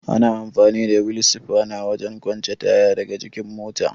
Ana amfani da wil sifana wajen kwance taya daga jikin mota.